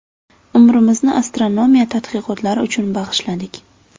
Umrimizni astronomiya tadqiqotlari uchun bag‘ishladik.